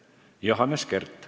Johannes Kert.